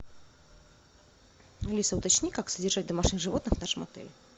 алиса уточни как содержать домашних животных в нашем отеле